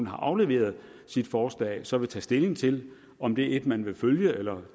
har afleveret sit forslag så vil tage stilling til om det er et man vil følge eller